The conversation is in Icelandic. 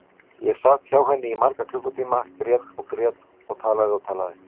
Ég sat hjá henni í marga klukkutíma, grét og grét og talaði og talaði.